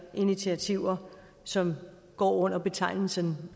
initiativer som går under betegnelsen